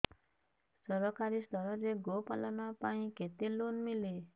ସରକାରୀ ସ୍ତରରେ ଗୋ ପାଳନ ପାଇଁ କେତେ ଲୋନ୍ ମିଳେ